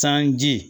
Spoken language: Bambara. Sanji